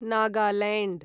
Nagaland